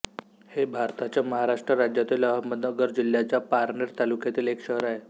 हे भारताच्या महाराष्ट्र राज्यातील अहमदनगर जिल्ह्याच्या पारनेर तालुक्यातील एक शहर आहे